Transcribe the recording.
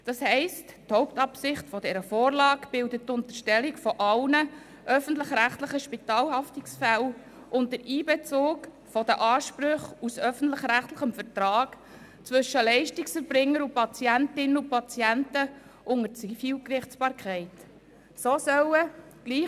Das heisst, dass die Unterstellung aller öffentlicher-rechtlichen Spitalhaftungsfälle und der Einbezug der Ansprüche aus öffentlich-rechtlichem Vertrag zwischen Leistungserbringern und Patientinnen und Patienten unter die Zivilgerichtsbarkeit die Hauptabsicht dieser Vorlage bilden.